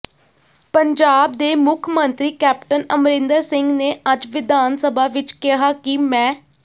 ਪੰਜਾਬ ਦੇ ਮੁੱਖ ਮੰਤਰੀ ਕੈਪਟਨ ਅਮਰਿੰਦਰ ਸਿੰਘ ਨੇ ਅੱਜ ਵਿਧਾਨ ਸਭਾ ਵਿਚ ਕਿਹਾ ਕਿ ਮੈਂ